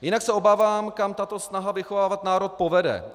Jinak se obávám, kam tato snaha vychovávat národ povede.